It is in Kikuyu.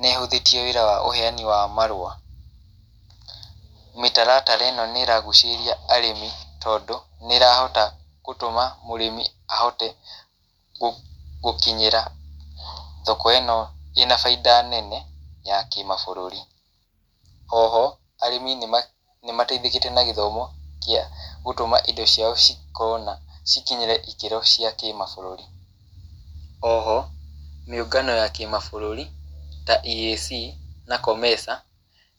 nĩ ĩhũthĩtie wĩra wa ũheani wa marũa. Mĩtaratara ĩno nĩ ĩragucĩrĩria arĩmi, tondũ, nĩ ĩrahota gũtũma mũrĩmi ahote gũkinyĩra thoko ĩno ĩna baida nene ya kĩmabũrũri. Oho, arĩmi nĩ nĩ mateithĩkĩte na gĩthomo kĩa gũtũma indo ciao cikorwo na cikinyĩre ikĩro cia kĩmabũrũri. Oho, mĩũngano ya kĩmabũrũri, ta EAC na COMESA,